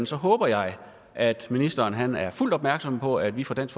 så håber jeg at ministeren er fuldt ud opmærksom på at vi fra dansk